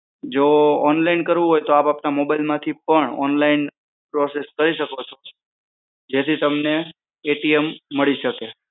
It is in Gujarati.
જો online કરવું હોય તો આપ આપણા મોબાઈલ પરથી પણ onlineprocess કરી શકો છો જે થી તમને મળી શકે